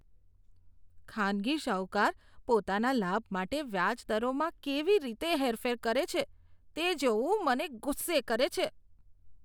ખાનગી શાહુકાર પોતાના લાભ માટે વ્યાજ દરોમાં કેવી રીતે હેરફેર કરે છે, તે જોવું મને ગુસ્સે કરે છે.